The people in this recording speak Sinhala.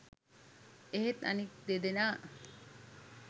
එහෙත් අනෙක් දෙදෙනා